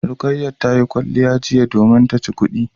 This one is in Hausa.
Rukayat tayi kwalliya jiya domin taci kudin